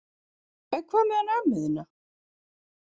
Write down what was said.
En hvað með hana ömmu þína?